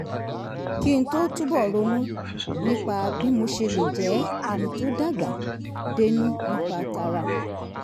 kí n túbọ̀ ronú nípa bí mo ṣe lè jẹ́ ẹni tó dàgbà dénú nípa tara